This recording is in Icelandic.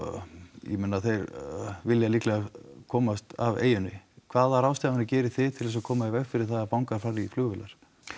ég meina þeir vilja líklega komast af eyjunni hvaða ráðstafanir gerið þið til þess að koma í veg fyrir það að fangar fari í flugvélar